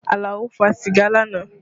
Alao fa sìgá lánàá